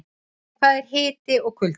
En hvað er hiti og kuldi?